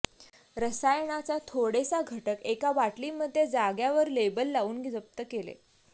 रसायनाचा थोडेसा घटक एकाबाटली मध्ये जाग्यावर लेबल लाऊन जप्त केले